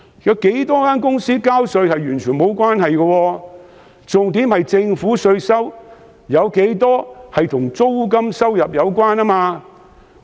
有多少公司交稅完全沒有關係，重點是政府的稅收有多少與租金收入有關。